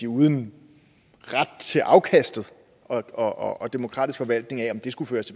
uden ret til afkastet og en demokratisk forvaltning af om det skulle føres